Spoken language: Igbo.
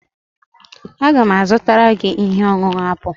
Aga m azụtara gị ihe ọṅụṅụ apụl